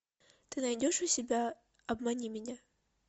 ты найдешь у себя обмани меня